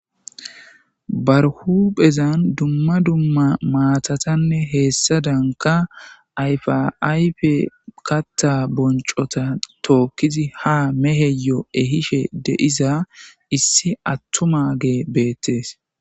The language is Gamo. Baari hupphezan duma duma maatattane heysadanka ayfa ayfe kattha bonchotta tokizi ha meheyo ehishe de'iza issi atumage betes.